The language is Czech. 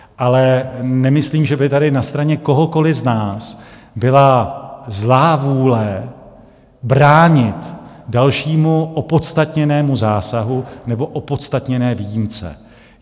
Ale nemyslím, že by tady na straně kohokoli z nás byla zlá vůle bránit dalšímu opodstatněnému zásahu nebo opodstatněné výjimce.